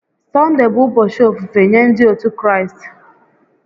Sọnde bụ ụbọchị ofufe nye ndị otu Kraịst